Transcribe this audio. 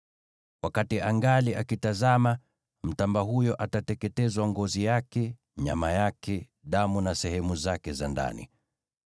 Wakati angali akitazama, mtamba huyo atateketezwa: ngozi yake, nyama yake, damu na sehemu zake za ndani.